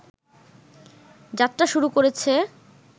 যাত্রা শুরু করেছে